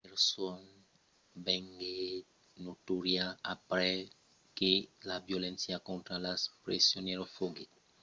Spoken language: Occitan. la preson venguèt notòria aprèp que la violéncia contra los presonièrs foguèt descobèrta aprèp que las fòrças americanas ne prenguèssen lo contraròtle